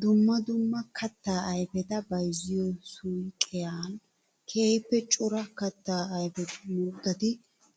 Dumma dumma katta ayfetta bayzziyo suyqqiyan keehippe cora katta ayfettu muruttati